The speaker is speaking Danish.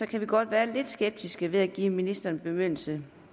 kan godt være lidt skeptiske ved at give ministeren bemyndigelse